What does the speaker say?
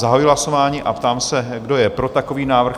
Zahajuji hlasování a ptám se, kdo je pro takový návrh?